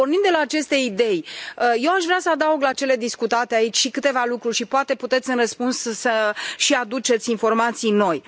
Pornind de la aceste idei, eu aș vrea să adaug la cele discutate aici și câteva lucruri și, poate, puteți în răspuns să și aduceți informații noi.